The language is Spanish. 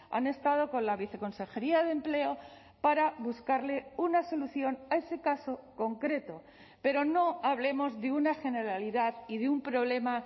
han estado con la viceconsejería de empleo para buscarle una solución a ese caso concreto pero no hablemos de una generalidad y de un problema